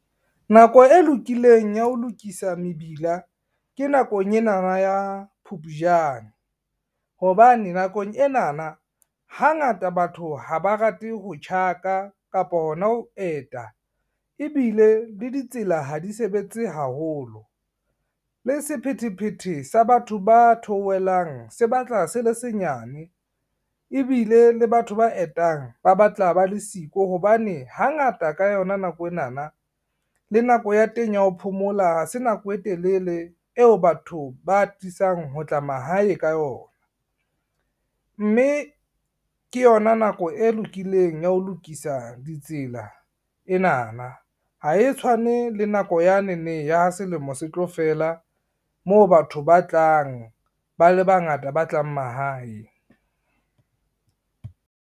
Nako e lokileng ya ho lokisa mebila ke nakong enana ya Phupjane, hobane nakong enana hangata batho ha ba rate ho tjhaka kapa hona ho eta ebile le ditsela ha di sebetse haholo. Le sephethephethe sa batho ba theohelang se batla se le senyane, ebile le batho ba etang ba batla ba le siko hobane hangata ka yona nako enana le nako ya teng ya ho phomola se nako e telele eo batho ba atisang ho tla mahae ka yona. Mme ke yona nako e lokileng ya ho lokisa di tsela enana, ha e tshwane le nako yanene ya ha selemo se tlo fela, moo batho ba tlang ba le bangata ba tlang mahae.